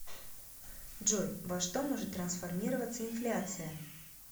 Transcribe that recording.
джой во что может трансформироваться инфляция